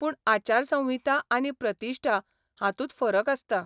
पूण आचारसंहिता आनी प्रतिश्ठा हातूंत फरक आसता.